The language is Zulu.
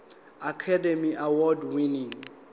academy award winning